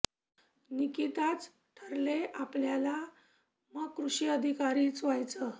निकिता च ठरले आपल्याला मग कृषी अधिकारी च व्हयाच